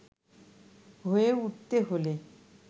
হয়ে উঠতে হলে